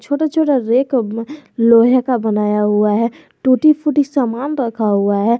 और जो रा रैक लोहे का बनाया हुआ है टूटी फूटी सामान रखा हुआ है।